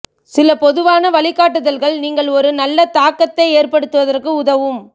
சில பொதுவான வழிகாட்டுதல்கள் நீங்கள் ஒரு நல்ல தாக்கத்தை ஏற்படுத்துவதற்கு உதவும்